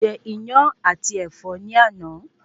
Mo je Iyán àti Ẹ̀fọ́ ní àná